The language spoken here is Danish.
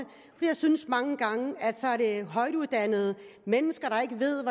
jeg synes mange gange er højtuddannede mennesker der ikke ved